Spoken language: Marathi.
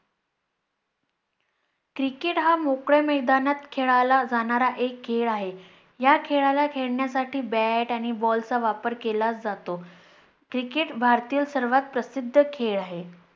Cricket हा मोकळ्या मैदानात खेळला जाणारा एक खेळ आहे. या खेळाला खेळण्यासाठी bat आणि ball चा वापर केला जातो. Cricket भारतीय सर्वात प्रसिध्द खेळ आहे